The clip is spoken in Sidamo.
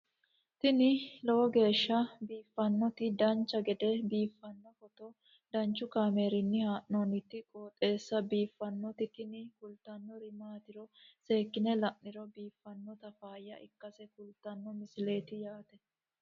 tini lowo geeshsha biiffannoti dancha gede biiffanno footo danchu kaameerinni haa'noonniti qooxeessa biiffannoti tini kultannori maatiro seekkine la'niro biiffannota faayya ikkase kultannoke misileeti yaate